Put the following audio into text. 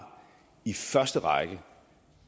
i første række